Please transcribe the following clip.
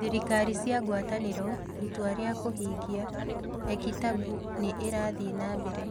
Thirikari cia ngwataniro: Itua rĩa kũhingia: eKitabu nĩ ĩrathiĩ na mbere